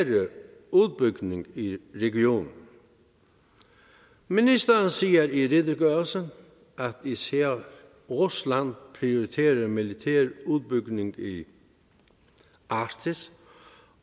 udbygning i i regionen ministeren siger i redegørelsen at især rusland prioriterer militær udbygning i arktis